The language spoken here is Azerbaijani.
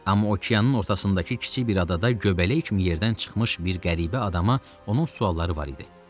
Amma okeanın ortasındakı kiçik bir adada göbələk kimi yerdən çıxmış bir qəribə adama onun sualları var idi.